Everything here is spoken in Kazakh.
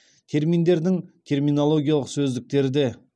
терминдердің терминологиялық сөздіктері де